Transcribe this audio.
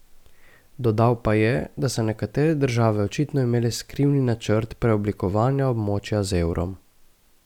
Dodal pa je, da so nekatere države očitno imele skrivni načrt preoblikovanja območja z evrom.